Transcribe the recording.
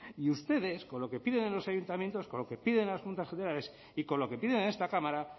y ustedes con lo que piden de los ayuntamientos con lo que piden en las juntas generales y con lo que piden en esta esta cámara